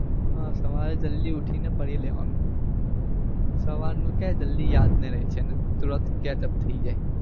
હા સવારે જલ્દી ઉઠી ને પઢી લેવાનું સવાર નું ક્યાં જલ્દી યાદ રે છે ને તુરંત ketchup થઇ જાય